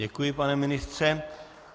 Děkuji, pane ministře.